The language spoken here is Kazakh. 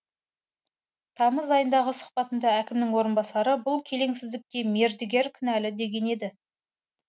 тамыз айындағы сұхбатында әкімнің орынбасары бұл келеңсіздікке мердігер кінәлі деген еді